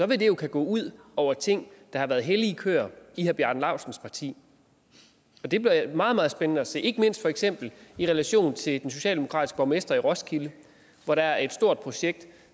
vil det jo kunne gå ud over ting der har været hellige køer i herre bjarne laustsens parti det bliver meget meget spændende at se ikke mindst for eksempel i relation til den socialdemokratiske borgmester i roskilde hvor der er et stort projekt